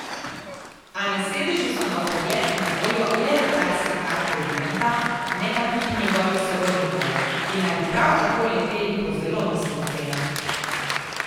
A, na sedežu so na vpogled na voljo le letalske karte Viranta, ne pa tudi njegovih sorodnikov, ki naj bi prav tako leteli po zelo nizkih cenah.